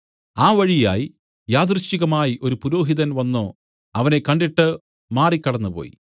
ആ വഴിയായി യാദൃശ്ചികമായി ഒരു പുരോഹിതൻ വന്നു അവനെ കണ്ടിട്ട് മാറി കടന്നുപോയി